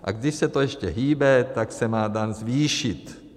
A když se to ještě hýbe, tak se má daň zvýšit.